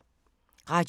Radio 4